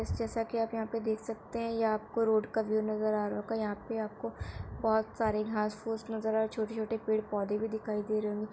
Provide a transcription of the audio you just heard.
Guys जैसा के आप यहाँ पे देख सकते हैं ये आप को रोड का व्यू नज़र आ रहा होगा। यहाँ पे आपको बहोत सारे घांस फूस नज़र आ छोटे-छोटे पेड़ पौधे भी दिखाई दे रहे होगें।